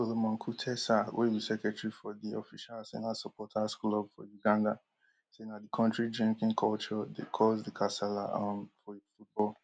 solomon kutesa wey be secretary for di official arsenal supporters club for uganda say na di kontri drinking culture dey cause di kasala um for football